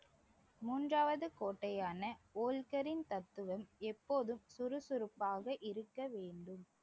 மூன்றாவது கோட்டையான ஓல்காரின் தத்துவம் எப்போதும் சுறுசுறுப்பாக இருக்க வேண்டும்